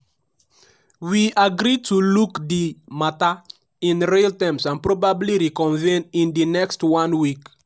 we agree to look di mata in real terms and probably reconvene in di next one week.